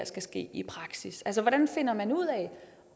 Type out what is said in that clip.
skal ske i praksis altså hvordan finder man ud af